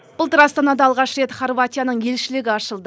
былтыр астанада алғаш рет хорватияның елшілігі ашылды